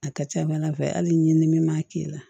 A ka ca ala fɛ hali ni min ma k'i la